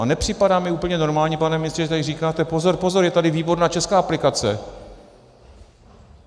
A nepřipadá mi úplně normální, pane ministře, že tady říkáte pozor, pozor, je tady výborná česká aplikace!